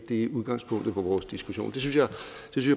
det er udgangspunktet for vores diskussion det synes jeg